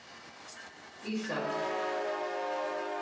Ísak